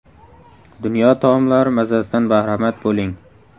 Dunyo taomlari mazasidan bahramand bo‘ling.